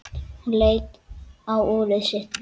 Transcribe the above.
Hún leit á úrið sitt.